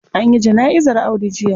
An yi jana'izar Audu jiya.